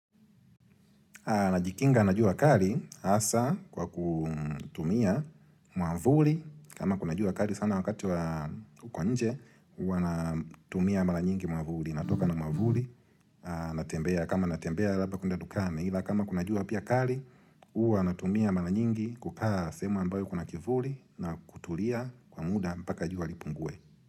Najikinga na jua kali hasaa kwa kutumia mwavuli kama kuna jua kali sana wakati wa huko nje Huwa natumia mara nyingi mwavuli. Natoka na mwavuli, natembea kama natembea labda kuenda dukani. Ila kama kuna jua pia kali Huwa natumia mara nyingi kukaa sehemu ambayo kuna kivuli na kutulia kwa muda mpaka jua lipunguwe.